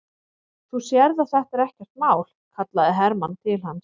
Þú sérð að þetta er ekkert mál, kallaði Hermann til hans.